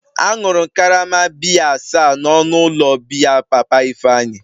Añụrụ m karama biya asaa n'ọnụ ụlọ biya papa Ifeanyi